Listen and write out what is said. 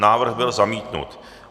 Návrh byl zamítnut.